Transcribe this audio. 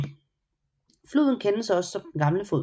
Floden kendes også som den gamle flod